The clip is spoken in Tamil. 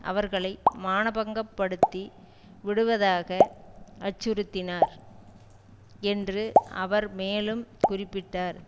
அவர்களை மானபங்கப்படுத்தி விடுவதாக அச்சுறுத்தினார் என்று அவர் மேலும் குறிப்பிட்டார்